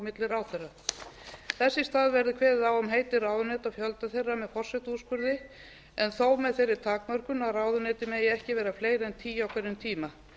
milli ráðherra þess í stað verði kveðið á um heiti ráðuneyta fjölda þeirra með forsetaúrskurði en þó með þeirri takmörkun að ráðuneyti megi ekki vera fleiri en tíu á hverjum tíma